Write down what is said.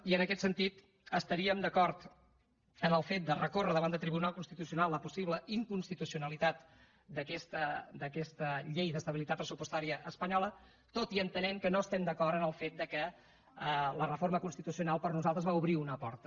i en aquest sentit estaríem d’acord en el fet de recórrer davant del tribunal constitucional la possible inconstitucionalitat d’aquesta llei d’estabilitat pressupostària espanyola tot i entenent que no estem d’acord en el fet que la reforma constitucional per nosaltres va obrir una porta